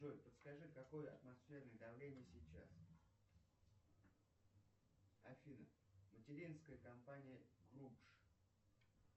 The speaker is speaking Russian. джой подскажи какое атмосферное давление сейчас афина материнская компания групш